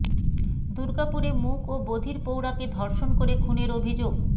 দুর্গাপুরে মূক ও বধির প্রৌঢ়াকে ধর্ষণ করে খুনের অভিযোগ